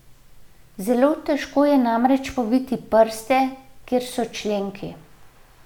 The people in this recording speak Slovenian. Zelo težko je namreč poviti prste, kjer so členki.